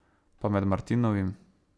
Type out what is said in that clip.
Pa med martinovim?